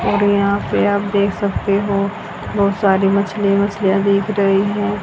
और यहां पे आप देख सकते हो बहुत सारी मछलीयां वछलीयां दिख रही हैं।